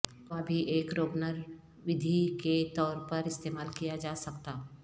دوا بھی ایک روگنرودھی کے طور پر استعمال کیا جا سکتا